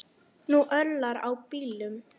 Nú örlar á bílum.